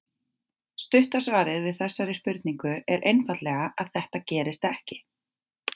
Stutta svarið við þessari spurningu er einfaldlega að þetta gerist ekki.